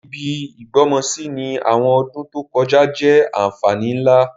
Ibi ìgbọ́mọsí ni àwọn ọdún to kojá jẹ́ ànfàní nlá.